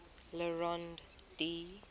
le rond d